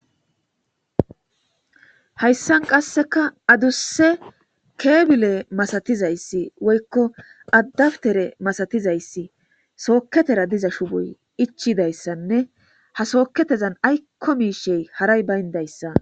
Hayisan qaseka adusa kebile malatizays woyiko adapitere malatizays soketera diza shupoy ichizayisanee soketeza ayiko mishe bayinayis betes